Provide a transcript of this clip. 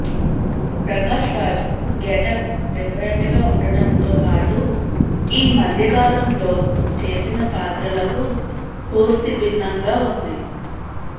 Prakash Raj getup different గా ఉండటంతో పాటు ఈ మధ్యకాలంలో చేసిన పాత్రలకు పూర్తి భిన్నంగా ఉంది